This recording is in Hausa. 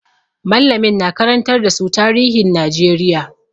Mallamin na karantar da su tarihin Najeriya.